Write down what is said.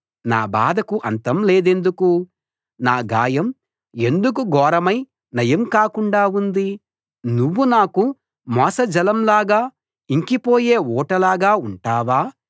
నా బాధకు అంతం లేదెందుకు నా గాయం ఎందుకు ఘోరమై నయం కాకుండా ఉంది నువ్వు నాకు మోసజలం లాగా ఇంకిపోయే ఊటలాగా ఉంటావా